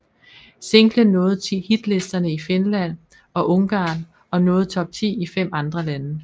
Singlen toppede hitlisterne i Finland og Ungarn og nåede top 10 i fem andre lande